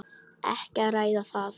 Ekki að ræða það.